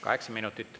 Kaheksa minutit.